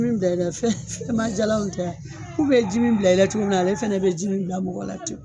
Ji mi bila ila fɛn fɛn ma jalanw tɛ a ku be ji mi bila i la cogo min na ale fɛnɛ be ji mi bila mɔgɔ la ten